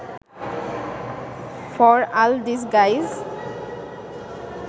for all this guys